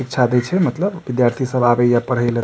शिक्षा दे छै मतलब विद्यार्थी सब आवे या पढ़े ले।